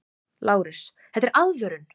LÁRUS: Þetta er aðvörun!